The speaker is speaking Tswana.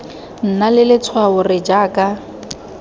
nna le letshwao r jaaka